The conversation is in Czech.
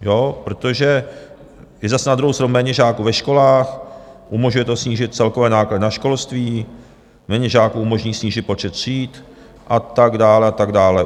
Protože je zase na druhou stranu méně žáků ve školách, umožňuje to snížit celkové náklady na školství, méně žáků umožní snížit počet tříd a tak dále, a tak dále.